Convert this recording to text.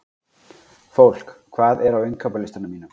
Fólki, hvað er á innkaupalistanum mínum?